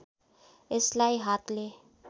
यसलाई हातले